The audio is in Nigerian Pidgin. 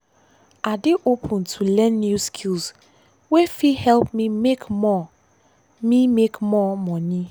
i dey open to learn new skills wey fit help me make more me make more money.